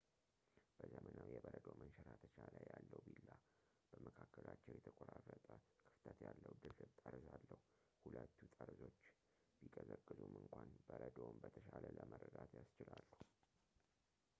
በዘመናዊ የበረዶ መንሸራተቻ ላይ ያለው ቢላ በመካከላቸው የተቆራረጠ ክፍተት ያለው ድርብ ጠርዝ አለው ሁለቱ ጠርዞች ቢቀዘቅዙም እንኳን በረዶውን በተሻለ ለመረዳት ያስችላሉ